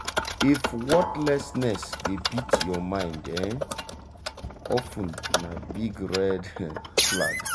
if worthlessness dey beat your mind um of ten na big red um flag.